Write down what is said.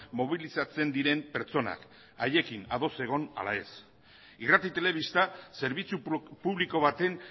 mobilizatzen diren pertsonak haiekin ados egon ala ez irrati telebista zerbitzu publiko baten